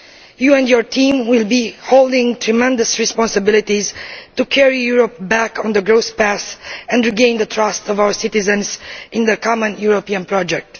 You and your team will be holding tremendous responsibilities to carry Europe back onto the path of growth and to win the trust of our citizens in the common European project.